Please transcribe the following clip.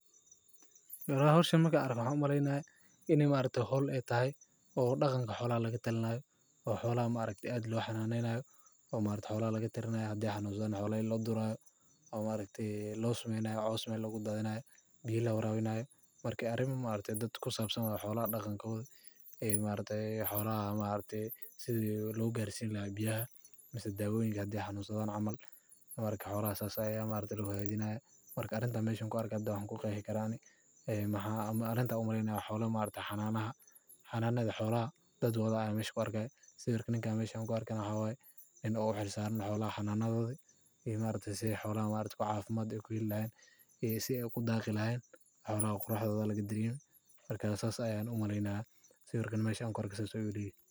Howshan markan arko waxan u maleynaya xolaha hananedo dadku waxay waqti iyo dhaqaale ku lumiyaan dayactirka gaadiidkooda iyo gaadhista meelo muhiim ah sida isbitaalada, dugsiyada ama goobaha shaqada. Sidaas darteed, waddo xumadu waa caqabad weyn oo u baahan in si degdeg ah wax looga qabto si loo horumariyo nolasha bulshada.